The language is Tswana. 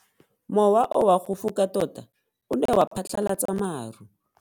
Mowa o wa go foka tota o ne wa phatlalatsa maru.